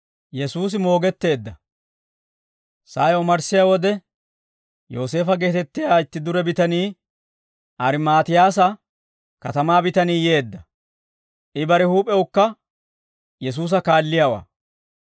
Sa'ay omarssiyaa wode, Yooseefo geetettiyaa itti dure bitanii, Armmaatiyaasa katamaa bitanii yeedda; I bare huup'ewukka Yesuusa kaalliyaawaa.